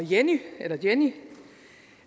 jenny